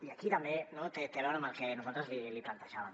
i aquí també no té a veure amb el que nosaltres li plantejàvem